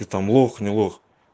там лох нет лох